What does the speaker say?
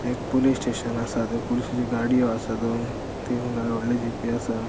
एक police station आसा थय पुलिशेचो गाडीयो आसा दोन तीन गा य व्हडल्यो जीपी आसा.